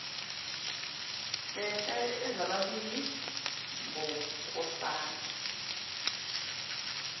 khehla ezazilibiza ngonkosana